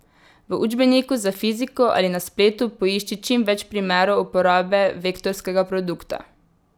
V učbeniku za fiziko ali na spletu poišči čimveč primerov uporabe vektorskega produkta.